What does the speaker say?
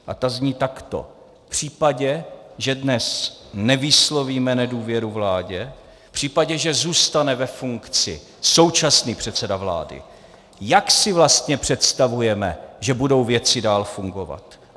A ta zní takto: V případě, že dnes nevyslovíme nedůvěru vládě, v případě, že zůstane ve funkci současný předseda vlády, jak si vlastně představujeme, že budou věci dál fungovat?